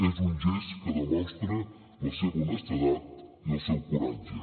és un gest que demostra la seva honestedat i el seu coratge